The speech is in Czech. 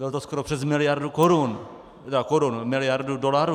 Bylo to skoro přes miliardu korun - ne korun, miliardu dolarů.